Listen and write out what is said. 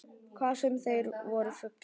Hvað sem þeir voru fullir.